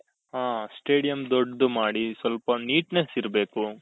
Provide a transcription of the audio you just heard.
ಹ stadium ದೊಡ್ಡದು ಮಾಡಿ ಸ್ವಲ್ಪ neatness ಇರ್ಬೇಕು